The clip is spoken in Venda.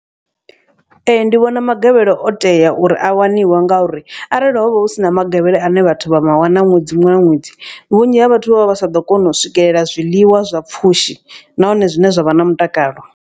Ee ndi vhona magavhelo o tea uri a waniwe nga uri arali hovha husina magavhelo ane vhathu vha ma wana ṅwedzi muṅwe na ṅwedzi. Vhunzhi ha vhathu vha vha vha sa ḓo kona u swikelela zwiḽiwa zwa pfhushi nahone zwine zwa vha na mutakalo.